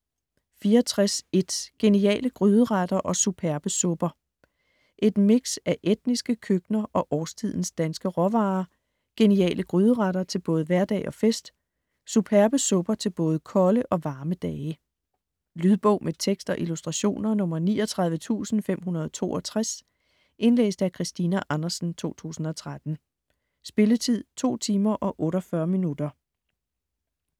64.1 Geniale gryderetter og superbe supper Et mix af etniske køkkener og årstidens danske råvarer. Geniale gryderetter til både hverdag og fest. Suberbe supper til både kolde og varme dage. Lydbog med tekst og illustrationer 39562 Indlæst af Christina Andersen, 2013. Spilletid: 2 timer, 48 minutter.